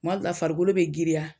Kuma dɔ la, farikolo bɛ girinya.